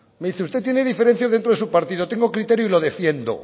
me dice usted tiene diferencias dentro de su partido tengo criterio y lo defiendo